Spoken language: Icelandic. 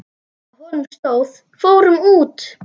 Á honum stóð: Fórum út!